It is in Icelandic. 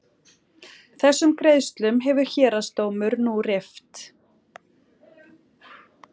Þessum greiðslum hefur héraðsdómur nú rift